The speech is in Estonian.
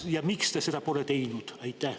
Ja miks te seda pole teinud?